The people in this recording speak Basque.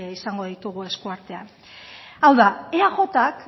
izango ditugu eskuartean hau da eajk